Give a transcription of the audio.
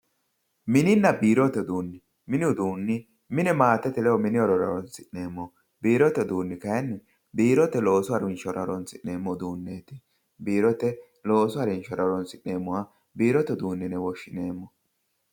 mininna biirote uduunni mini uduunni mine maatete ledo mini horora horonsi'neemmoho biirote uduunni kayiinni biirote loosu harinshora horonsi'neemmoho uduunneeti biirote loosu harinshora horonsi'neemmoha biirote uduunneeti yine woshshineemmo.